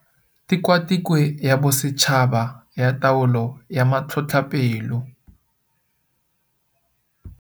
Tikwatikwe ya Bosetšhaba ya Taolo ya Matlhotlhapelo.